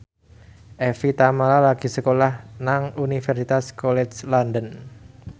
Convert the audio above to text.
Evie Tamala lagi sekolah nang Universitas College London